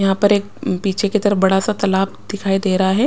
यहां पर एक पीछे की तरफ बड़ा सा तालाब दिखाई दे रहा है।